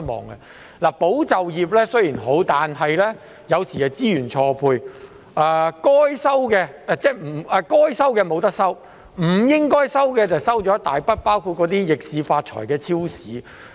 雖然"保就業"計劃是好，但有時候會出現資源錯配，應該收到補貼的未能收到，不應收到的卻收到一大筆補貼，包括那些逆市發財的超市。